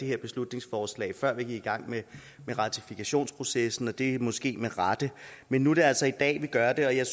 her beslutningsforslag før vi gik i gang med ratifikationsprocessen og det er måske med rette men nu er det altså i dag vi gør det og jeg